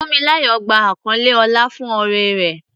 Funmilayo gba àkọlé ọlá fún oore rẹ̀.